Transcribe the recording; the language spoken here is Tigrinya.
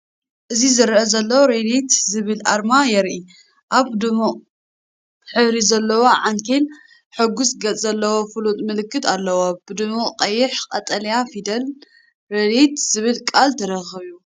እዚ ዘረአ ዘሎ “ሬዲት” ዝብል ኣርማ የርኢ። ኣብ ድሙቕ ሕብሪ ዘለዎ ዓንኬል ሕጉስ ገጽ ዘለዎ ፍሉጥ ምልክት ኣለዎ፣ ብድሙቕ ቀይሕ-ቀጠልያ ፊደላት ሬዲት” ዝብል ቃል ተኸቢቡ።